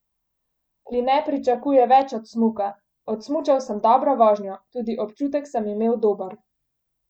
Kline pričakuje več od smuka: "Odsmučal sem dobro vožnjo, tudi občutek sem imel dober.